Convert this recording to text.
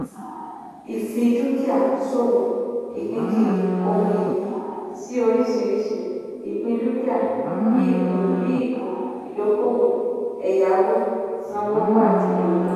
ìfidúkìá-ṣòwò - ìpínkiri ohun-ìní sí oríṣiríṣi ìpín dúkìá bíi ìpín bíi ìpín ìdókòwò ẹ̀yáwó-sanwó owó àti ìdókòwò.